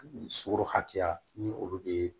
Sogo hakɛya ni olu bee